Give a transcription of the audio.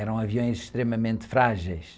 Eram aviões extremamente frágeis.